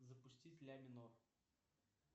запустить ля минор